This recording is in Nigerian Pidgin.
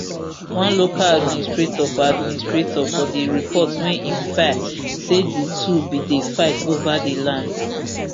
one local administrator for administrator for di report wey im file say di two bin dey fight over di land